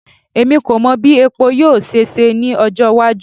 Emi ko mọ bi epo yoo ṣe ṣe ni ọjọ iwaju